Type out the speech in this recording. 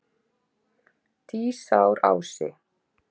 Dísarási